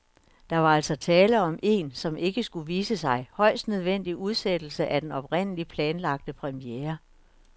Der var altså tale om en, som det skulle vise sig, højst nødvendig udsættelse af den oprindeligt fastlagte premiere.